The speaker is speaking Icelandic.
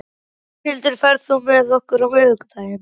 Reynhildur, ferð þú með okkur á miðvikudaginn?